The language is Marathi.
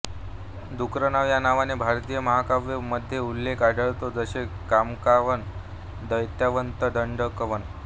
द्रुकनाव या नावाने भारतीय महाकाव्य मध्ये उल्लेख आढळतो जसे कामकावन द्वैतावंत दंडकवण